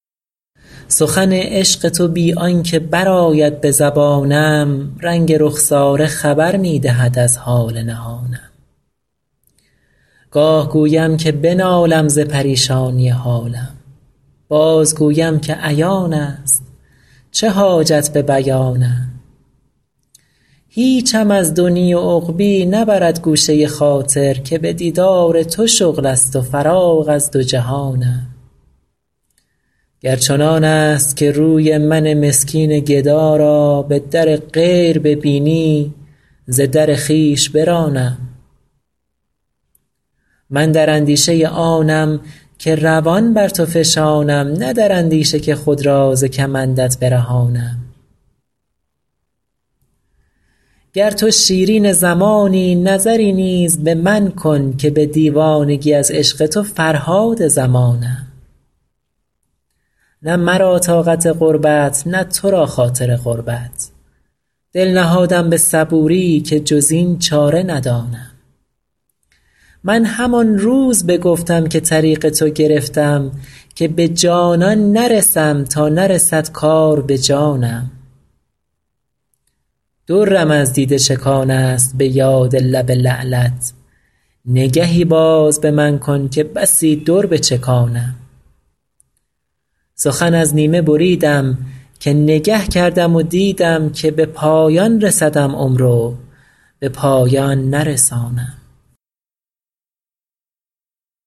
سخن عشق تو بی آن که برآید به زبانم رنگ رخساره خبر می دهد از حال نهانم گاه گویم که بنالم ز پریشانی حالم بازگویم که عیان است چه حاجت به بیانم هیچم از دنیی و عقبیٰ نبرد گوشه خاطر که به دیدار تو شغل است و فراغ از دو جهانم گر چنان است که روی من مسکین گدا را به در غیر ببینی ز در خویش برانم من در اندیشه آنم که روان بر تو فشانم نه در اندیشه که خود را ز کمندت برهانم گر تو شیرین زمانی نظری نیز به من کن که به دیوانگی از عشق تو فرهاد زمانم نه مرا طاقت غربت نه تو را خاطر قربت دل نهادم به صبوری که جز این چاره ندانم من همان روز بگفتم که طریق تو گرفتم که به جانان نرسم تا نرسد کار به جانم درم از دیده چکان است به یاد لب لعلت نگهی باز به من کن که بسی در بچکانم سخن از نیمه بریدم که نگه کردم و دیدم که به پایان رسدم عمر و به پایان نرسانم